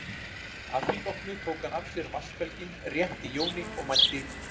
Að því loknu tók hann af sér vatnsbelginn, rétti Jóni og mælti